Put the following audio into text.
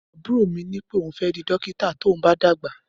Abúrò mí ni pẹ òhún fẹ dí dọkítà tòún bà dàgbá.